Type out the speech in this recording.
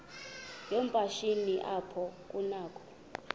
yoomatshini apho kunakho